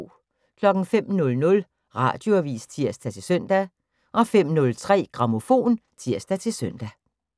05:00: Radioavis (tir-søn) 05:03: Grammofon (tir-søn)